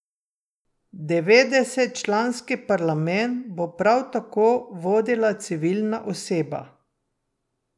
Devetdesetčlanski parlament bo prav tako vodila civilna oseba.